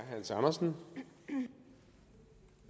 også